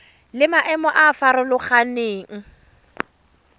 le maemo a a farologaneng